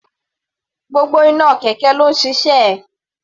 Gbogbo iná kẹ̀kẹ́ ló ń ṣiṣẹ́.